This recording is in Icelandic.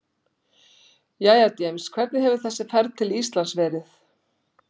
Jæja James, hvernig hefur þessi ferð til Íslands verið?